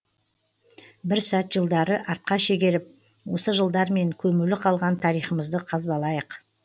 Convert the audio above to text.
бір сәт жылдарды артқа шегеріп осы жылдармен көмулі қалған тарихымызды қазбалайық